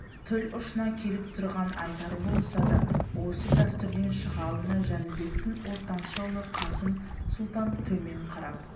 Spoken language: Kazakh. тіл ұшына келіп тұрған айтары болса да осы дәстүрден шыға алмай жәнібектің ортаншы ұлы қасым сұлтан төмен қарап